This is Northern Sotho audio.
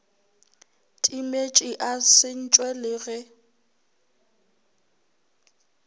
timetše a sentšwe le ge